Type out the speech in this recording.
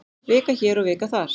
Vika hér og vika þar.